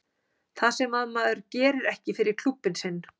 Það sem að maður gerir ekki fyrir klúbbinn sinn.